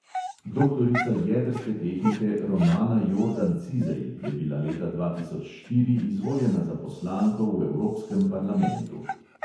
Doktorica jedrske tehnike romana jordan cizej je bila leta dva tisoč štiri izvoljena za poslanko v evropskem parlamentu.